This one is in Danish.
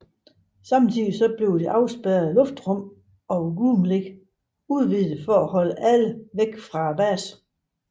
Samtidig blev det afspærrede luftrum over Groom Lake udvidet for at holde alle væk fra basen